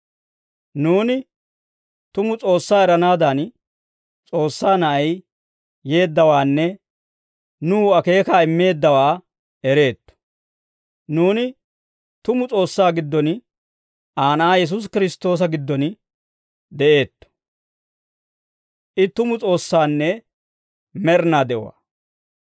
Nuuni tumu S'oossaa eranaadan, S'oossaa Na'ay yeeddawaanne nuw akeekaa immeeddawaa ereetto. Nuuni tumu S'oossaa giddon, Aa Na'aa Yesuusi Kiristtoosa giddon de'eetto; I tumu S'oossaanne med'inaa de'uwaa.